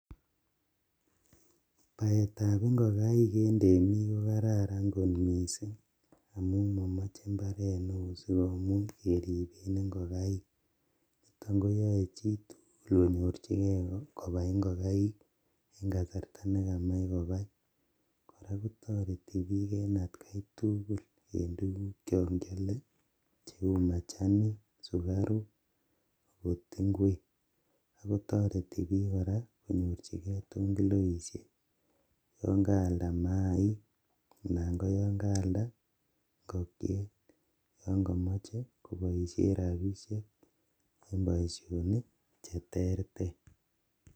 Baeetab ingokaik eng' temik ko kararan mising. Amuu momoche mbaret neoo sigomuch keriben ingokaik. Tamkoyae chitugul konyorchigei kobaai ingokaik eng kasarta nekamach kobaai. Kora kotareti biik eng atkai tugul eng tuguk chankiale cheuu machanik sukaruk agot ingwek. Ago toreti biik kora konyorjigei tongiloishek yangaalda mayaik anan ko yakaalda ingokiet yankamachei koboishe robishek eng' boishonik che terter.